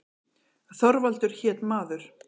Þorvaldur hét maður.